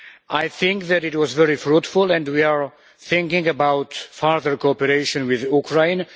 I think that it was very fruitful and we are thinking about further cooperation with Ukraine.